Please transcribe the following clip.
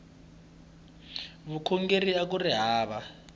vukhongeri akuri hava